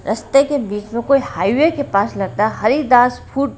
रास्ते के बीच में कोई हाईवे के पास लगता हरिदास फूड --